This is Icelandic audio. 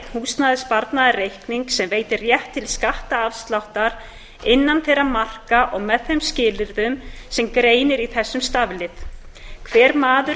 húsnæðissparnaðarreikning sem veitir rétt til skattafsláttar innan þeirra marka og með þeim skilyrðum sem greinir í þessum staflið hver maður